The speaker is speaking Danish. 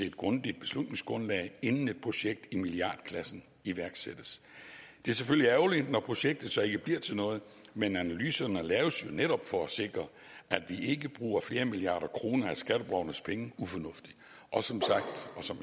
et grundigt beslutningsgrundlag inden et projekt i milliardklassen iværksættes det er selvfølgelig ærgerligt når projektet så ikke bliver til noget men analyserne laves jo netop for at sikre at vi ikke bruger flere milliarder kroner af skatteborgernes penge ufornuftigt og som